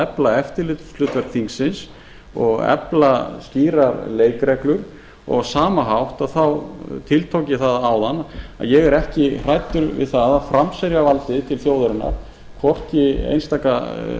efla eftirlitshlutverk þingsins og efla skýrar leikreglur á sama hátt tiltók ég það áðan að ég er ekki hræddur við það að framselja valdið til þjóðarinnar hvorki einstakra